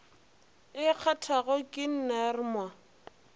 e kgathago ke ner mo